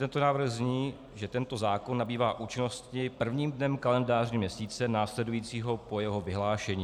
Tento návrh zní, že tento zákon nabývá účinnosti prvním dnem kalendářního měsíce následujícího po jeho vyhlášení.